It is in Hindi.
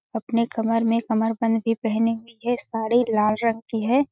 अपने कमर में कमर बंध भी पहनी हुई है साड़ी लाल रंग की हैं।